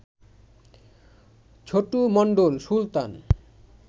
Chhotu Mondal, Sultan